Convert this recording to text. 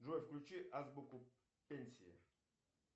джой включи азбуку пенсии